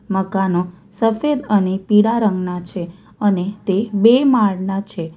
મકાનો સફેદ અને પીરા રંગના છે અને તે બે માળના છે.